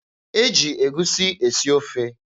E ji egusi esi ofe.